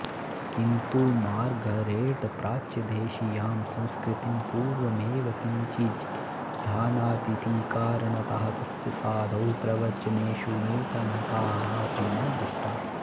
किन्तु मार्गरेट् प्राच्यदेशीयां संस्कृतिं पूर्वमेव किञ्चिज्जानातीति कारणतः तस्य साधोः प्रवचनेषु नूतनता कापि न दृष्टा